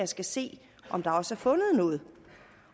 skal se om der også er fundet noget